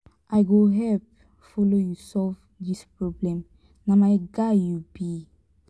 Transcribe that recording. i go help follow you solve this problem na my guy you be.